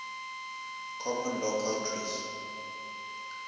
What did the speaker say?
common law countries